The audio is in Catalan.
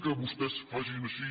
que vostès facin així